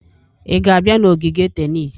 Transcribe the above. Ị ga-abịa n'ogige tennis?